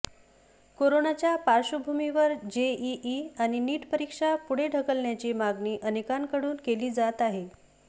कोरोनाच्या पार्श्वभूमीवर जेईई आणि नीट परीक्षा पुढे ढकलण्याची मागणी अनेकांकडून केली जात आहे